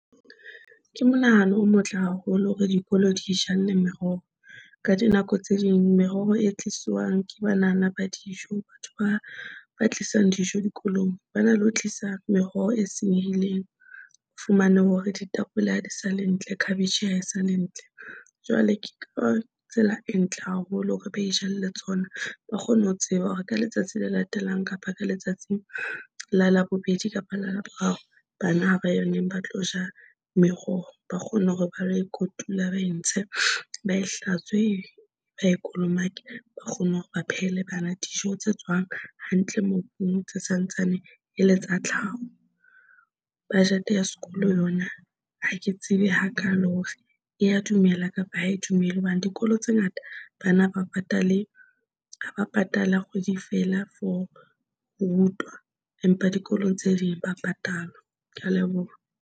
Ke monahano o motle haholo hore dikolo di ijalle meroho. Ka dinako tse ding, meroho e tlisiwang ke banana ba dijo, batho ba ba tlisang dijo dikolong ba na, le ho tlisa meroho e senyehileng. O fumane hore ditapole ha di sa le ntle cabbage ya hae sa le ntle. Jwale ke ka tsela e ntle haholo hore ba itjalle tsona, ba kgone ho tseba hore ka letsatsi le latelang kapa ka letsatsi la Labobedi, kapa la Laboraro, bana ha ba yona ba tlo ja meroho, ba kgone hore ba lo e kotula, ba e ntshe ba e hlatswe ba e kolomake, ba kgone hore ba phehela bana dijo tse tswang hantle, mobung tse sa ntsane e le tsa tlhaho. Budget ya sekolo yona ha ke tsebe hakaalo hore e ya dumela kapa ha e dumele hobane dikolo tse ngata bana ba patale. Ha ba patale ha kgwedi feela for ho rutwa, empa dikolong tse ding ba patalwa. Ke a leboha.